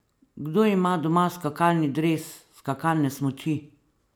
Kdo ima doma skakalni dres, skakalne smuči?